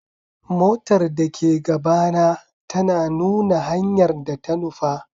Motar da ke gabana tana nuna hanyar da ta nufa.